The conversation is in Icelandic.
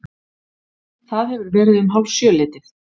Það hefur verið um hálfsjöleytið.